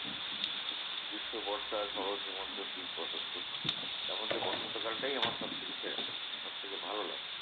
গ্রীষ্ম, বর্ষা, শরৎ, হেমন্ত, শীত, বসন্ত। এরমধ্যে বসন্ত কালটাই আমার সবথেকে সেরা। সবথেকে ভালো লাগে।